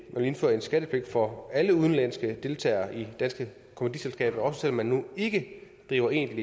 vil indføre en skattepligt for alle udenlandske deltagere i danske kommanditselskaber også selv om man nu ikke driver egentlig